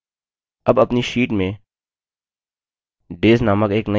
अब अपनी sheet में days named एक now heading प्रविष्ट करते हैं